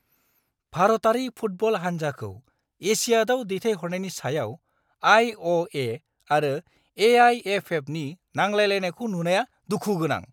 भारतारि फुटबल हान्जाखौ एशियाडआव दैथायहरनायनि सायाव आइ. अ. ए. आरो ए. आइ. एफ. एफ. नि नांलायलायनायखौ नुनाया दुखु गोनां।